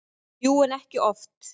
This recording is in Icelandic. Jú, en ekki oft.